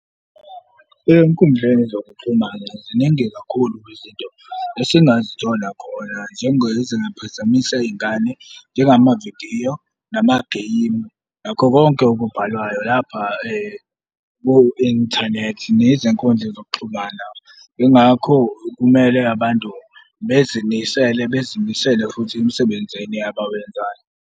Ey'nkundleni zokuxhumana ziningi kakhulu kwizinto esingazithola khona njengezingaphazamisa iy'ngane, njengamavidiyo namagemu nakho konke okubhalwayo lapha ku-inthanethi nezinkundla zokuxhumana. Yingakho kumele abantu bezimisele bezimisele futhi emsebenzini abawenzayo.